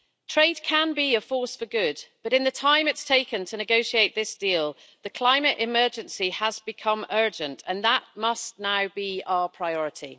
Trade can be a force for good, but in the time it's taken to negotiate this deal, the climate emergency has become urgent, and that must now be our priority.